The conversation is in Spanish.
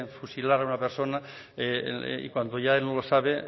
fusilar a una persona y cuando ya él no lo sabe